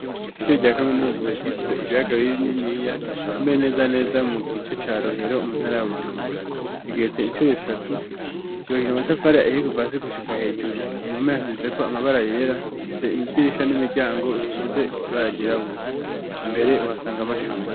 Ishure rya kaminuza ryitiriwe ibibaga bininiya itumbiriye neza neza mu gice ca rohero muntara ya Bujumbura rigetse inshuro zitatu cubakishijwe amatafari kava hasi gushika hejuru ifise amabara yera rifise amadirisha n'imiryango isize ibara ryirabura imbere uhasanga amashugo.